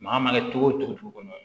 Maa mana kɛ cogo o cogo dugu kɔnɔ